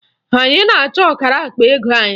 Anyị na-achọ ọkara akpa ego anyị